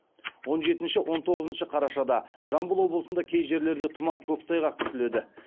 он жетінші он тоғызыншы қарашада жамбыл облысында кей жерлерде тұман көктайғақ күтіледі